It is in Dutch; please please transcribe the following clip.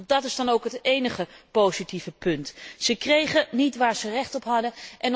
Dat is dan ook het énige positieve punt, want ze kregen niet waar ze recht op hadden.